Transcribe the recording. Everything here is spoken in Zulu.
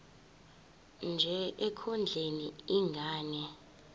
nje ekondleni ingane